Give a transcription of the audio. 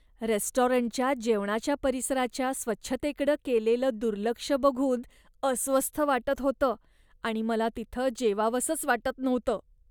रेस्टॉरंटच्या जेवणाच्या परिसराच्या स्वच्छतेकडं केलेलं दुर्लक्ष बघून अस्वस्थ वाटत होतं आणि मला तिथं जेवावंसंच वाटत नव्हतं.